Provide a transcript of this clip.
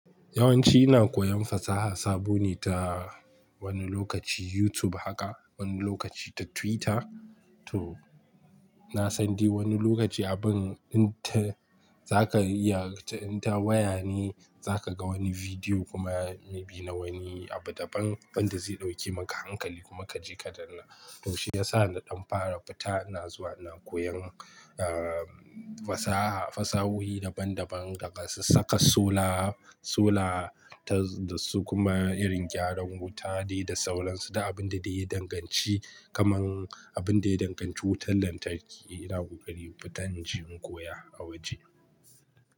Yawanci ina koyan fasaha sabo ne ta wani lokaci YouTube haka, wani lokaci ta Twitter. To na san dai wani lokaci abun inta zaka iya inta waya ne zaka ga wani bidiyo kuma maybe na wani abu daban wanda zai ɗauke maka hankali kuma ka je ka danna. To shi ya sa da ɗan fara fita ina zuwa ina koyan, ah, fasaha, fasahuhi daban daban daga su saka sola, sola ta dasu kuma irin gyaran wuta dai da sauransu da abin da ya yi danganci kamar abin da ya danganci wutar lantarki ina kokari fitan ji in koya a waje.